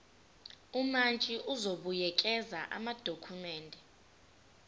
umantshi uzobuyekeza amadokhumende